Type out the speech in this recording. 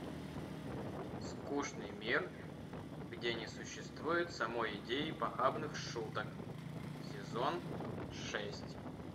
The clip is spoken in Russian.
скучный мир где не существует самой идеи похабных шуток сезон шесть